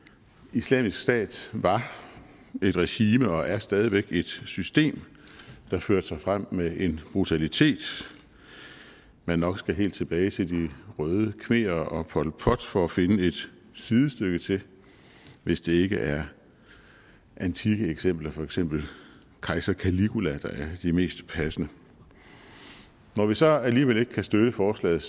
islamisk stat var et regime og er stadig væk et system der førte sig frem med en brutalitet man nok skal helt tilbage til de røde khmerer og pol pot for at finde et sidestykke til hvis det ikke er antikke eksempler for eksempel kejser caligula der er de mest passende når vi så alligevel ikke kan støtte forslaget